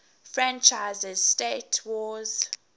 franchises 'star wars